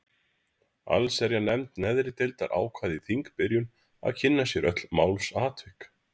Allsherjarnefnd neðri deildar ákvað í þingbyrjun að kynna sér öll málsatvik.